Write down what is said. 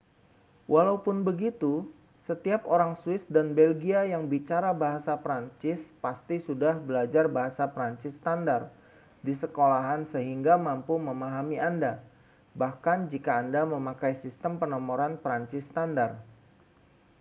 walaupun begitu setiap orang swiss dan belgia yang bicara bahasa prancis pasti sudah belajar bahasa prancis standar di sekolahan sehingga mampu memahami anda bahkan jika anda memakai sistem penomoran prancis standar